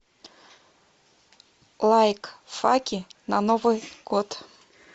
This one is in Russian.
лайкфаки на новый год